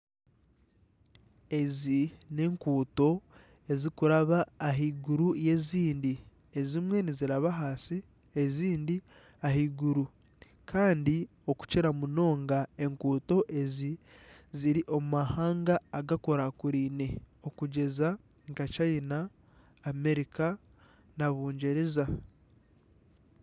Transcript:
Ezi n'enguuto ezirikuraaba ahaiguru y'ezindi ezimwe niziraba ahansi ezindi ahaiguru kandi okukira munonga enguuto ezi ziri omu mahanga agakurakuraine okugyeza nka chaina, Amarica na bungyereza